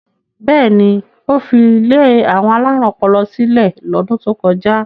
Bẹ́ẹ̀ ni, ó fi ilé àwọn alárùn ọpọlọ sílẹ̀ lọ́dún tó kọjá.